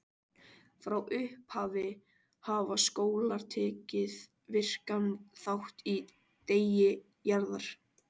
Frá upphafi hafa skólar tekið virkan þátt í Degi Jarðar.